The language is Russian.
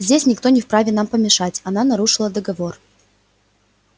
здесь никто не вправе нам помешать она нарушила договор